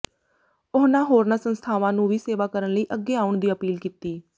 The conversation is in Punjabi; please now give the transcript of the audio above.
ਉਹਨਾਂ ਹੋਰਨਾਂ ਸੰਸਥਾਵਾਂ ਨੂੰ ਵੀ ਸੇਵਾ ਕਰਨ ਲਈ ਅੱਗੇ ਆਉਣ ਦੀ ਅਪੀਲ ਕੀਤੀ